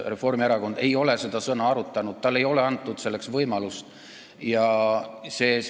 Reformierakond ei ole seda sõna arutanud, talle ei ole selleks võimalust antud.